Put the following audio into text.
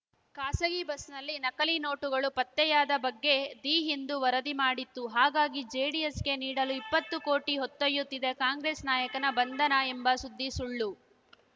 ಖಾಸಗಿ ಬಸ್‌ನಲ್ಲಿ ನಕಲಿ ನೋಟುಗಳು ಪತ್ತೆಯಾದ ಬಗ್ಗೆ ದಿ ಹಿಂದು ವರದಿ ಮಾಡಿತ್ತು ಹಾಗಾಗಿ ಜೆಡಿಎಸ್‌ಗೆ ನೀಡಲು ಇಪ್ಪತ್ತು ಕೋಟಿ ಹೊತ್ತೊಯ್ಯತ್ತಿದ್ದ ಕಾಂಗ್ರೆಸ್‌ ನಾಯಕನ ಬಂಧನ ಎಂಬ ಸುದ್ದಿ ಸುಳ್ಳು